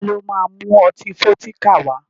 Ta ló ma mú ọtí Fọ́díkà wá?